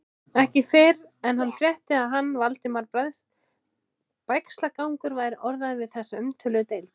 Ekki fyrr en hann frétti, að hann, Valdimar Bægslagangur, væri orðaður við þessa umtöluðu deild.